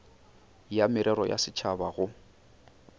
ya merero ya setšhaba go